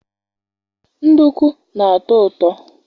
nduku na-atọ ụtọ